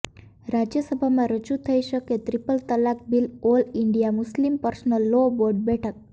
રાજ્યસભામાં રજૂ થઇ શકે ત્રિપલ તલાક bill all India Muslim personal law board બેઠક